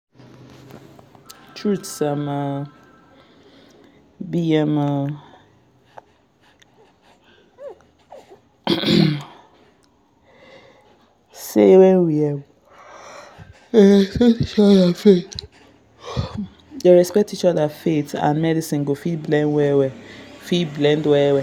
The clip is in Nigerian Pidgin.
truth um be um say when we um dey respect each other faith and medicine go fit blend well fit blend well well